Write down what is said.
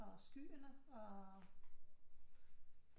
Og skyerne og